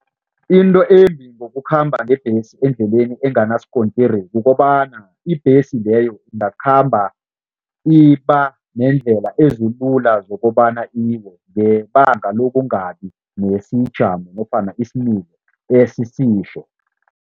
Into embi ngokukhamba ngebhesi endleleni enganasikontiri kukobana ibhesi leyo ingakhamba ibanendlela ezilula zokobana ngebanga lokungabi nesijamo nofana